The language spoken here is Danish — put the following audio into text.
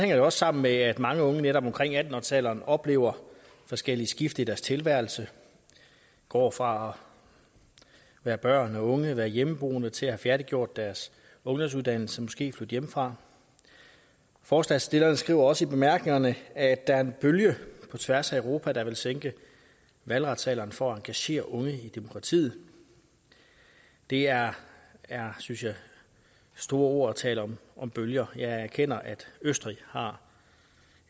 det også sammen med at mange unge netop omkring atten årsalderen oplever forskellige skift i deres tilværelse de går fra at være børn og unge og være hjemmeboende til at have færdiggjort deres ungdomsuddannelse og måske flytte hjemmefra forslagsstillerne skriver også i bemærkningerne at der er en bølge på tværs af europa der vil sænke valgretsalderen for at engagere unge i demokratiet det er synes jeg store ord at tale om bølger jeg erkender at østrig har